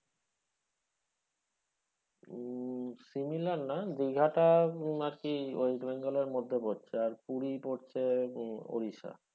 উম similar না দিঘাটা আরকি ওই Bengal এর মধ্যে পড়ছে আর পুরি পড়ছে উম ওড়িশা।